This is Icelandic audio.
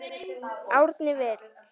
Árni Vill.